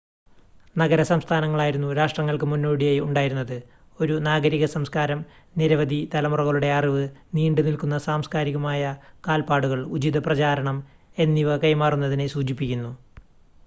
നഗര-സംസ്ഥാനങ്ങളായിരുന്നു രാഷ്ട്രങ്ങൾക്ക് മുന്നോടിയായി ഉണ്ടായിരുന്നത് ഒരു നാഗരിക സംസ്കാരം നിരവധി തലമുറകളുടെ അറിവ് നീണ്ട് നിൽക്കുന്ന സാംസ്‌കാരിക കാൽപ്പാടുകൾ ഉചിതമായ പ്രചാരണം എന്നിവ കൈമാറുന്നതിനെ സൂചിപ്പിക്കുന്നു